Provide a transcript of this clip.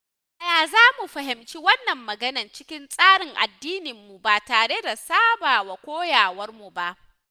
Yaya zamu fahimci wannan magana cikin tsarin addininmu ba tare da saba wa koyarwarmu ba?